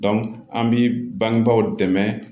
an bi bangebaw dɛmɛ